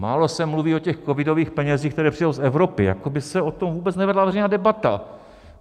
Málo se mluví o těch covidových penězích, které přijdou z Evropy, jako by se o tom vůbec nevedla veřejná debata.